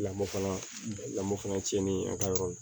Lamɔ fana lamɔ fana cɛnni a ka yɔrɔ la